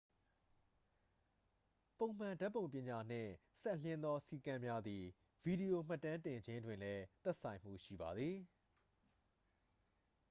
ပုံမှန်ဓာတ်ပုံပညာနှင့်စပ်လျဉ်းသောစည်းကမ်းများသည် ဗီဒီယိုမှတ်တမ်းတင်ခြင်းတွင်လည်း သက်ဆိုင်မှုရှိပါသည်